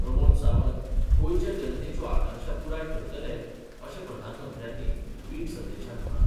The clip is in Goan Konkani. प्रमोद सावंत गोंयच्या जनतेच्यो आकांक्षा पुराय करतले अशें प्रधानमंत्र्यांनी वीट संदेशांत म्हळां.